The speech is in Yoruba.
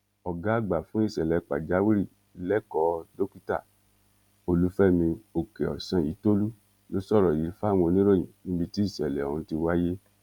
ọgá àgbà fún ìṣẹlẹ pàjáwìrì lẹkọọ dókítà olùfẹmi òkèọsányìntòlú ló sọrọ yìí fáwọn oníròyìn níbi tí ìṣẹlẹ ọhún ti wáyé